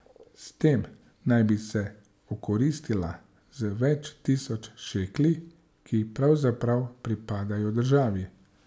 S tem naj bi se okoristila z več tisoč šekli, ki pravzaprav pripadajo državi.